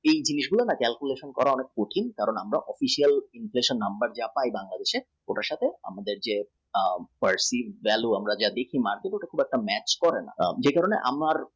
inflation এর calculation করা কঠিন যারা online ব্যাপারে আছেন ওনার সঙ্গে personal value খুব একটা match করে